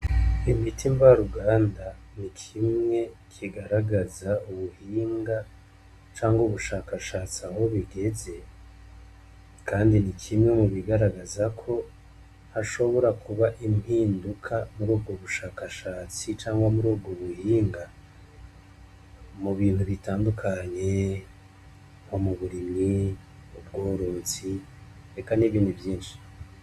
Imiti mvaruganda n'ikimwe kigaragaza ubuhinga canke ubushakashatsi aho bigeze, Kandi n'ikimwe mubigaragaza ko hashobora kuba impinduka murubwo bushakashatsi canke murubwo buhinga mubintu bitandukanye nko muburimyi n'ubworozi eka n'ibindi vyinshi.